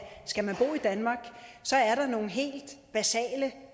skal man bo i danmark er der nogle helt basale